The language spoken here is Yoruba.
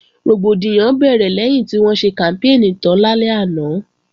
Rògbòdìyàn bẹ̀rẹ̀ lẹ́yìn tí wọ́n ṣe kàmpéènì tán lálẹ́ àná